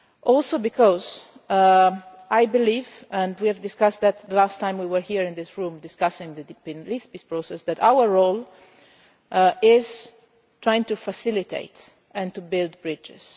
for me. Also because I believe and we discussed this the last time we were here in this room discussing the peace process that our role is to try to facilitate and to build bridges.